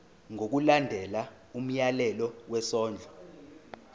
ngokulandela umyalelo wesondlo